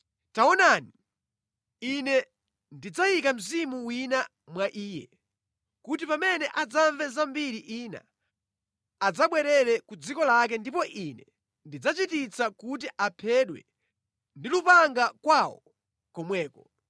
Tamverani! Ine ndidzayika mwa mfumuyo mzimu wina kotero kuti akadzamva mphekesera ya nkhondo, adzabwerera ku dziko lake ndipo Ine ndidzachititsa kuti aphedwe ndi lupanga kwawo komweko.’ ”